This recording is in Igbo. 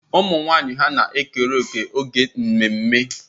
Ụmụ nwanyị hà na-ekere òkè n'ememme?